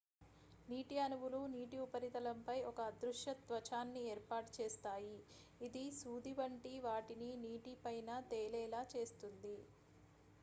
నీటి అణువులు నీటి ఉపరితలంపై ఒక అదృశ్య త్వచాన్ని ఏర్పాటు చేస్తాయి ఇది సూది వంటి వాటిని నీటి పైన తేలేలా చేస్తుంది